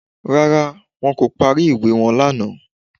Rárá, wọn kò parí ìwé wọn lánàá